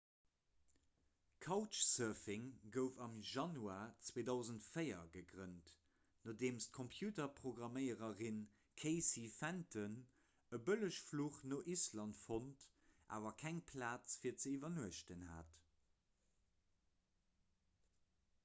couchsurfing gouf am januar 2004 gegrënnt nodeem d'computerprogramméiererin casey fenton e bëllegfluch no island fonnt awer keng plaz fir ze iwwernuechten hat